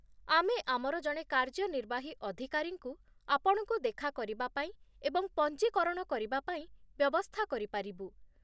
ଆମେ ଆମର ଜଣେ କାର୍ଯ୍ୟନିର୍ବାହୀ ଅଧିକାରୀଙ୍କୁ ଆପଣଙ୍କୁ ଦେଖା କରିବା ପାଇଁ ଏବଂ ପଞ୍ଜୀକରଣ କରିବା ପାଇଁ ବ୍ୟବସ୍ଥା କରିପାରିବୁ।